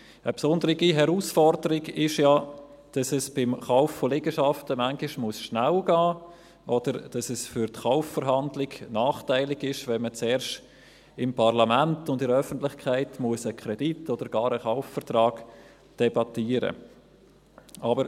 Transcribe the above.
Eine besondere Herausforderung ist ja, dass es beim Kauf von Liegenschaften manchmal schnell gehen muss oder dass es für die Verkaufsverhandlung nachteilig ist, wenn man zuerst im Parlament und in der Öffentlichkeit einen Kredit oder gar einen Kaufvertrag debattieren muss.